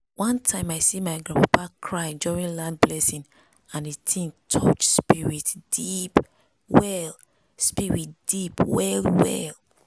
one time i see my grandpapa cry during land blessing and di thing touch spirit deep well spirit deep well well.